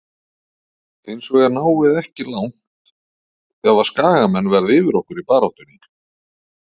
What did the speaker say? Hinsvegar náum við ekki langt ef að skagamenn verða yfir okkur í baráttunni.